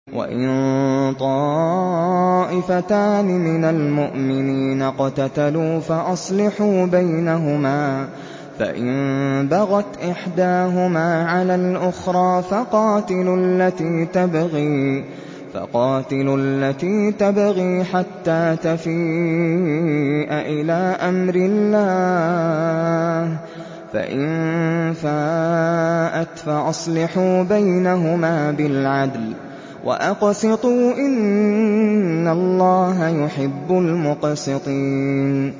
وَإِن طَائِفَتَانِ مِنَ الْمُؤْمِنِينَ اقْتَتَلُوا فَأَصْلِحُوا بَيْنَهُمَا ۖ فَإِن بَغَتْ إِحْدَاهُمَا عَلَى الْأُخْرَىٰ فَقَاتِلُوا الَّتِي تَبْغِي حَتَّىٰ تَفِيءَ إِلَىٰ أَمْرِ اللَّهِ ۚ فَإِن فَاءَتْ فَأَصْلِحُوا بَيْنَهُمَا بِالْعَدْلِ وَأَقْسِطُوا ۖ إِنَّ اللَّهَ يُحِبُّ الْمُقْسِطِينَ